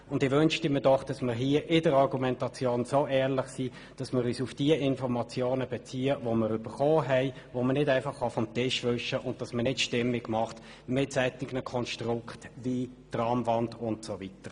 Ich wünschte mir doch, man wäre bei der Argumentation so ehrlich und bezöge sich hier auf die erhaltenen Informationen, welche nicht einfach vom Tisch gewischt werden können, anstatt Stimmung mit Konstrukten wie der «Tramwand» zu machen.